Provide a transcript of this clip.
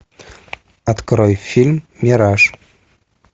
открой фильм мираж